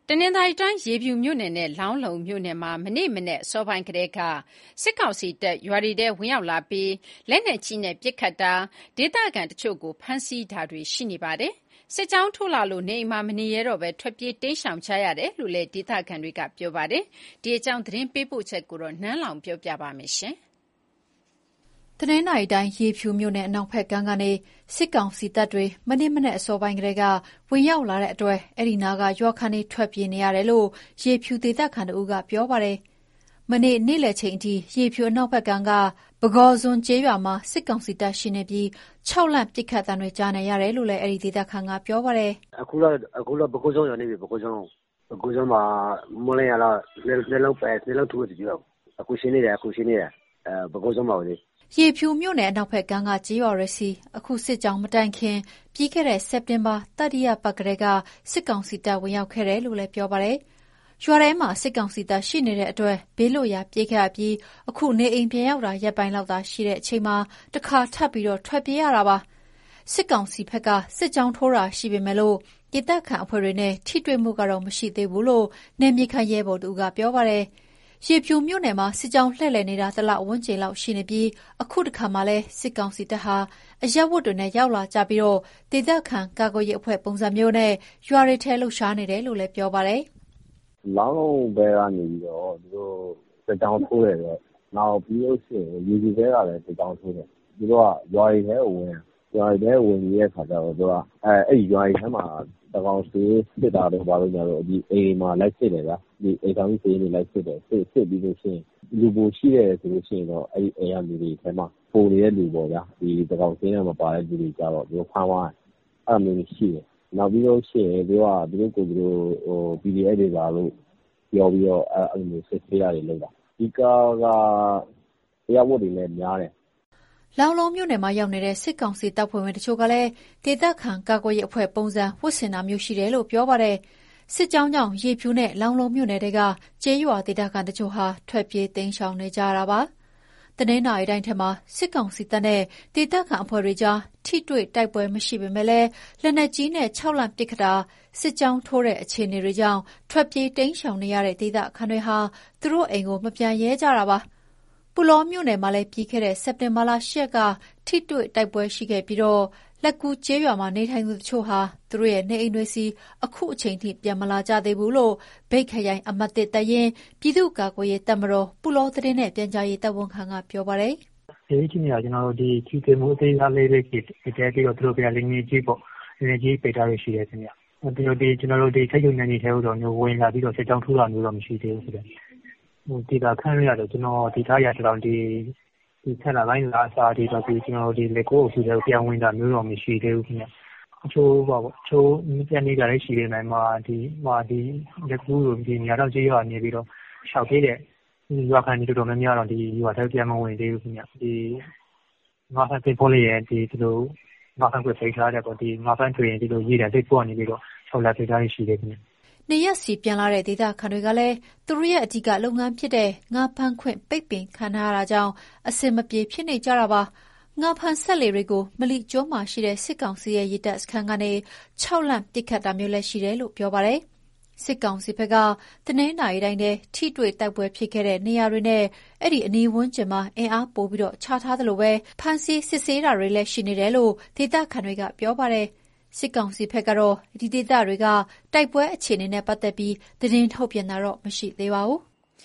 တနင်္သာရီတိုင်း၊ ရေဖြူမြို့နယ်နဲ့ လောင်းလုံးမြို့နယ်မှာ မနေ့မနက် အစောပိုင်းကတည်းက စစ်ကောင်စီတပ် ရွာတွေထဲ ဝင်ရောက်လာပြီး လက်နက်ကြီးနဲ့ပစ်ခတ်တာ၊ ဒေသခံတချို့ကို ဖမ်းဆီးတာတွေ ရှိနေပါတယ်။ စစ်ကြောင်းထိုးလာလို့ နေအိမ်မှာမနေရဲတော့ဘဲ ထွက်ပြေးတိမ်းရှောင်နေကြရတယ်လို့ ဒေသခံတွေက ပြောပါတယ်။ ဒီအကြောင်း သတင်းပေးပို့ထားတာကို နန်းလောဝ်က တင်ပြပေးထားပါတယ်။ တနင်္သာရီတိုင်း၊ ရေဖြူမြို့နယ် အနောက်ဘက်ကမ်းကနေ စစ်ကောင်စီတပ် မနေ့မနက်အစောပိုင်းကတည်းက ဝင်ရောက်လာလို့ အဲဒီအနီးနားက ရွာခံတွေဟာ ထွက်ပြေးနေရတယ်လို့ ရေဖြူဒေသခံတဦးက ပြောပါတယ်။ မနေ့ နေ့လယ်အထိ ရေဖြူအနောက်ဘက်ကမ်းက ပုဂေါဇွန်းကျေးရွာမှာ စစ်ကောင်စီတပ်ရှိနေပြီး ခြောက်လှန့် ပစ်ခတ်သံတွေလည်း ကြားနေရတယ်လို့ အဲဒီဒေသခံက ပြောပါတယ်။ "အခုတော့ ပုဂေါဇွန်းရွာ ရောက်နေပြီ။ ပုဂေါဇွန်းမှာ မိုးလင်းကတည်း က (လက်နက်ကြီး) ၂ လုံးထုနေပြီ။ အခု ရှိနေတယ်၊ ပုဂေါဇွန်းမှာပဲ။" ရေဖြူမြို့နယ် အနောက်ဘက်ကမ်းက ကျေးရွာတွေဆီ အခုစစ်ကြောင်းမတိုင်ခင် ပြီးခဲ့တဲ့ စက်တင်ဘာလ တတိယပတ်ကတည်းက စစ်ကောင်စီတပ် ဝင်ရောက်ခဲ့တယ်လို့ ပြောပါတယ်။ ရွာထဲမှာ စစ်ကောင်စီတပ်ရှိလို့ ဘေးလွတ်ရာပြေးခဲ့ရပြီး အခု နေအိမ်ပြန်ရောက်တာ ရက်ပိုင်းလောက်သာ ရှိချိန်မှာ တခါထပ်ပြီး ထွက်ပြေးနေရတာပါ။ စစ်ကောင်စီဘက်က စစ်ကြောင်းထိုးတာ ရှိပေမယ့် ဒေသခံအဖွဲ့တွေနဲ့ ထိတွေ့မှုကတော့ မရှိသေးဘူးလို့ နယ်မြေခံ ရဲဘော်တဦးက ပြောပါတယ်။ ရေဖြူမြို့နယ်မှာ စစ်ကြောင်းလှည့်လည်နေတာ တလဝန်းကျင်လောက် ရှိနေပြီး အခုတခါမှာလည်း စစ်ကောင်စီတပ်ဟာ အရပ်ဝတ်တွေနဲ့ ရောက်လာကြပြီး ဒေသခံ ကာကွယ်ရေးအဖွဲ့ ပုံစံမျိုးနဲ့ ရွာတွေထဲ လှုပ်ရှားနေတယ်လို့ ပြောပါတယ်။ "လောင်းလုံးဘက်က နေပြီးတော့ သူတို့စစ်ကြောင်း ထိုးတယ်ပေါ့။ နောက်ပြီးတော့ ရေဖြူဘက်ကနေလည်း စစ်ကြောင်းထိုးတယ်။ သူတို့က ရွာတွေထဲကို ဝင်ပြီးတဲ့အခါကျတော့ အဲဒီရွာတွေထဲမှာ သန်းခေါင် စာရင်း လိုက်စစ်တယ်။ အိမ်ထောင်စုစာရင်းတွေ လိုက်စစ်ပြီးလို့ရှိရင် အဲဒီအိမ်တွေထဲမှာ ပိုနေတဲ့လူပို (သန်းခေါင်စာရင်းထဲ မပါတဲ့လူတွေ) ကိုတော့ သူတို့ဖမ်းသွားတယ်။ အဲဒါမျိုးတွေရှိတယ်။ နောက်ပြီးလို့ရှိရင် သူတို့က သူတို့ကိုယ်သူတို့ PDF တွေပါလို့ ပြောပြီးတော့ စစ်ဆေးတာတွေပါ လုပ်တာ။ အဓိကက အရပ်ဝတ်တွေလည်း များတယ်။" လောင်းလုံးမြို့နယ်မှာရောက်နေတဲ့ စစ်ကောင်စီတပ်က အဖွဲ့ဝင်တချို့လည်း ဒေသခံကာကွယ်ရေး အဖွဲ့ပုံစံ ဝတ်ဆင်ထားတာမျိုး ရှိတယ်လို့ ပြောပါတယ်။ စစ်ကြောင်းကြောင့် ရေဖြူနဲ့ လောင်းလုံးမြို့နယ်ထဲက ကျေးရွာဒေသခံတချို့ဟာ ထွက်ပြေးတိမ်းရှောင်နေရတာ ဖြစ်ပါတယ်။ တနင်္သာရီတိုင်းထဲမှာ စစ်ကောင်စီတပ်နဲ့ ဒေသခံအဖွဲ့တွေကြား ထိတွေ့တိုက်ပွဲမရှိပေမယ့်လည်း လက်နက်ကြီးနဲ့ ခြောက်လှန့်ပစ်ခတ်တာ၊ စစ်ကြောင်းထိုးတဲ့အခြေအနေတွေကြောင့် ထွက်ပြေးတိမ်းရှောင်နေတဲ့ ဒေသခံတွေဟာ သူတို့အိမ်ကို မပြန်ရဲကြတာပါ။ ပုလောမြို့နယ်မှာလည်း ပြီးခဲ့တဲ့ စက်တင်ဘာလက ၈ ရက်တာ ထိတွေ့တိုက်ပွဲရှိခဲ့ပြီး လက္ကူးကျေးရွာမှာ နေထိုင်သူတချို့ဟာ သူတို့ရဲ့နေအိမ်တွေဆီ အခုချိန်ထိ ပြန်မလာကြသေးဘူးလို့ မြိတ်ခရိုင် အမှတ် (၁) တပ်ရင်း၊ ပြည်သူ့ကာကွယ်ရေး တပ်မတော် (ပုလော) သတင်းနဲ့ ပြန်ကြားရေးတာဝန်ခံက ပြောပါတယ်။ "လက်ရှိအခြေအနေက ထိတွေ့မှု အသေးစားလေးတွေ ရှိတယ်။ ပြီးတော့ သူတို့ဘက်က လက်နက်ကြီးပစ်တာ ရှိတယ်ခင်ဗျ။ ကျနော်တို့ နယ်မြေထဲကို ဝင်လာပြီး စစ်ကြောင်းထိုးတာတော့ မရှိသေးဘူးဗျ။ ဒေသခံတွေကတော့ ၁၀ လပိုင်းကတည်းက လက္ကူးအုပ်စုထဲကို ပြန်ဝင်တာတော့ မရှိသေးဘူးခင်ဗျ။ တချို့ ပြန်နေတာလည်း ရှိပေမယ့် လက္ကူး၊ မြဒေါင်ကျေးရွာကနေပြီးတော့ ရှောင်ပြေးတဲ့ ရွာခံတော်တော် များများကတော့ ရွာထဲကို ပြန်မဝင်သေးဘူး။ ငါးဖမ်းသင်္ဘောတွေကိုလည်း ငါးဖမ်းခွင့် ပိတ်ထားတယ်ပေါ့။ ငါးဖမ်းထွက်ရင် ရေတပ်သင်္ဘောက နေပြီးတော့ ခြောက်လှန့်ပစ်တာတွေ ရှိတယ်ခင်ဗျ။" နေရပ်ဆီပြန်လာတဲ့ ဒေသခံတွေကလည်း သူတို့ရဲ့ အဓိက လုပ်ငန်းဖြစ်တဲ့ ငါးဖမ်းခွင့် ပိတ်ပင်ခံထားရလို့ အဆင်မပြေ ဖြစ်နေကြပါတယ်။ ငါးဖမ်းစက်လှေတွေကို မလိကျွန်းမှာရှိတဲ့ စစ်ကောင်စီရဲ့ ရေတပ်စခန်းကနေ ခြောက်လှန့်ပစ်ခတ်တာမျိုးလည်း ရှိတယ်လို့ ပြောပါတယ်။ စစ်ကောင်စီဘက်က တနင်္သာရီတိုင်းထဲက ထိတွေ့တိုက်ပွဲ ဖြစ်ခဲ့တဲ့နေရာတွေနဲ့ အဲဒီအနီးဝန်းကျင်မှာ အင်အားပိုချထားသလို ဖမ်းဆီး စစ်ဆေးတာတွေလည်းရှိနေတယ်လို့ ဒေသခံတွေက ပြောပါတယ်။ စစ်ကောင်စီဘက်ကတော့ ဒီဒေသတွေက တိုက်ပွဲအခြေအနေနဲ့ ပတ်သက်ပြီး သတင်းထုတ်ပြန်တာ မရှိသေးပါဘူး။